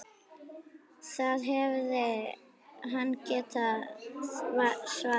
Það hefði hann getað svarið.